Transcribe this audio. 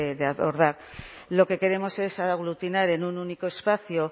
de abordar lo que queremos es aglutinar en un único espacio